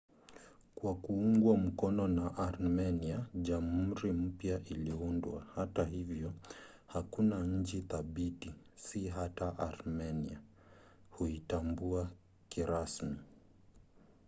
kwa kuungwa mkono na armenia jamhuri mpya iliundwa. hata hivyo hakuna nchi thabiti - si hata armenia - huitambua kirasmi